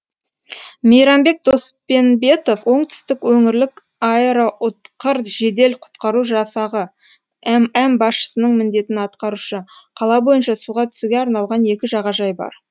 мейрамбек доспенбетов оңтүстік өңірлік аэроұтқыр жедел құтқару жасағы мм басшысының міндетін атқарушы қала бойынша суға түсуге арналған екі жағажай бар